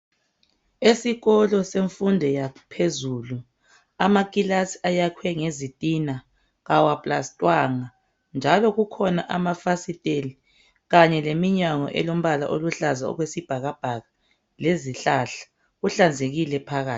Esikolo semfundo yaphezulu amakilasi ayakhwengezitina. Kawapilasitwanga, njalo kukhona amafasiteli kanye leminyango elombala oluhlaza okwesibhakabhaka, lezihlahla. Kuhlanzekile phakathi.